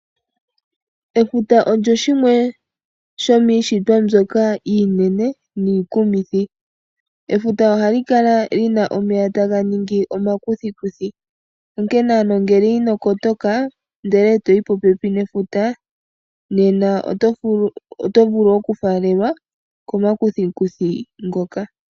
Efuta olyo limwe lyomiishitwa iinene niikumithi. Efuta ohali kala li na omeya taga ningi omakuthikuthi. Nonkene ano ngele ino kotoka ndele e toyi popepi nefuta nena oto vulu okufaalelwa komakuthikuthi ngoka.